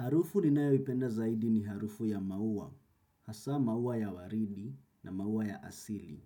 Harufu ninayoipenda zaidi ni harufu ya maua hasaa maua ya waridi na maua ya asili.